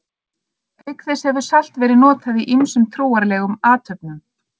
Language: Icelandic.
Auk þessa hefur salt verið notað í ýmsum trúarlegum athöfnum.